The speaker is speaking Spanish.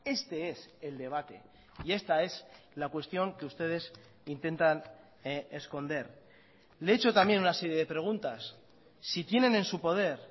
este es el debate y esta es la cuestión que ustedes intentan esconder le he hecho también una serie de preguntas si tienen en su poder